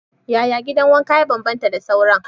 Yaya gidan wanka ya bambanta da sauran?